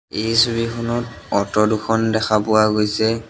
এই ছবিখনত অট' দুখন দেখা পোৱা গৈছে।